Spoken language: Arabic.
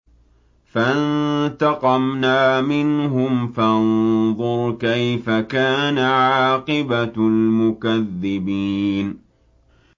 فَانتَقَمْنَا مِنْهُمْ ۖ فَانظُرْ كَيْفَ كَانَ عَاقِبَةُ الْمُكَذِّبِينَ